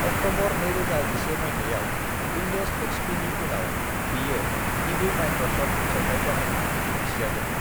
October 2001 मायथायाव Windows XP. नि उनाव बेयो गिबि मायक्रसफ्ट फोसावथाय जानायनि मिजिं थिजादों।